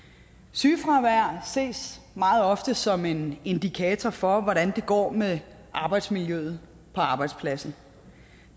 sygefravær ses meget ofte som en indikator for hvordan det går med arbejdsmiljøet på arbejdspladsen